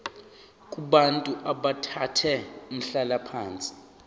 kubantu abathathe umhlalaphansi